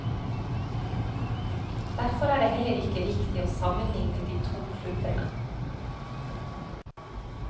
Derfor er det heller ikke riktig å sammenligne de to klubbene.